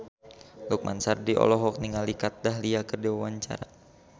Lukman Sardi olohok ningali Kat Dahlia keur diwawancara